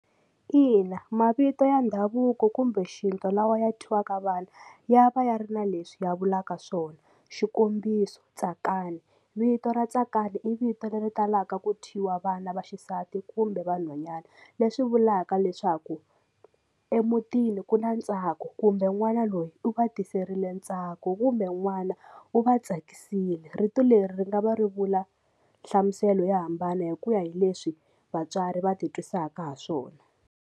Ina mavito ya ndhavuko kumbe xintu lawa ya thyiwaka vana ya va ya ri na leswi ya vulaka swona xikombiso Tsakani vito ra Tsakani i vito leri talaka ku thyiwa vana vaxisati kumbe vanhwanyana leswi vulaka leswaku emutini ku na ntsako kumbe n'wana loyi u va tiserile ntsako kumbe n'wana u va tsakisile vito leri ri nga va ri vula nhlamuselo yo hambana hi ku ya hi leswi vatswari va ti twisaka ha swona.